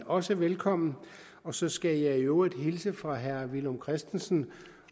også velkomne og så skal jeg i øvrigt hilse fra herre villum christensen